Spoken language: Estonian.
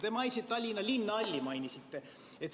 Te mainisite Tallinna Linnahalli.